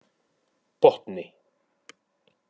Botni